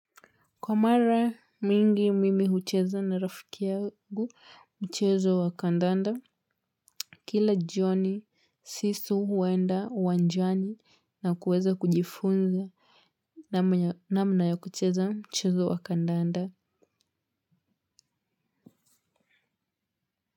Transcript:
Kwa mara mingi mimi hucheza na rafiki yagu mchezo wa kandanda kila joni sisu huenda uwanjani na kuweza kujifunza na mna ya kucheza mchezo wa kandanda.